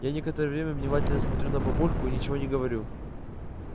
я некоторое время внимательно смотрю на папульку и ничего не говорю